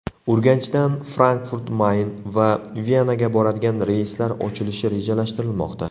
Urganchdan Frankfurt-Mayn va Venaga boradigan reyslar ochilishi rejalashtirilmoqda.